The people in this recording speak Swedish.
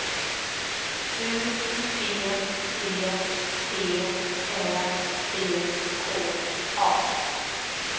U P P T Ä C K A